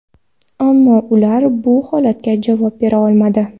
Ammo ular bu holatga javob bera olmadi.